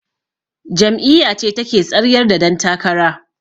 Jam'iyyace take tsaryar da dan takara.